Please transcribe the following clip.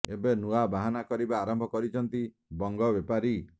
ଏବେ ନୂଆ ବାହାନା କରିବା ଆରମ୍ଭ କରିଛନ୍ତି ବଙ୍ଗ ବେପାରୀ